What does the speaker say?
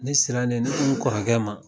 Ne siranne ne ko n kɔrɔkɛ ma